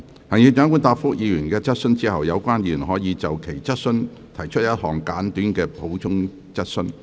行政長官答覆議員的質詢後，有關議員可就其質詢提出一項簡短的補充質詢。